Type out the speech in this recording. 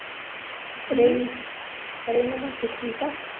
ਰੈਨੂੰ ਰੈਨੂੰ ਮਾਸੀ ਠੀਕ ਆ?